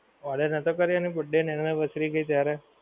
order નોહતો કર્યો એની birthday અને anniversary ગઈ ત્યારે